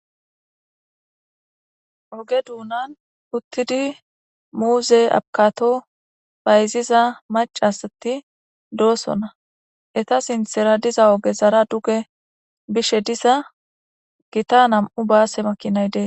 oge duunan uttidi muuze abkato bayziza mac asati doosonna eta sinthera diza oge zara duge bishe diza gita nam7u baase makinay dee